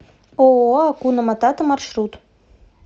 ооо акуна матата маршрут